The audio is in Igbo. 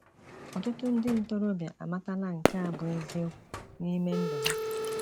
Ọtụtụ ndị ntorobịa amatala nke a bụ eziokwu n’ime ndụ ha.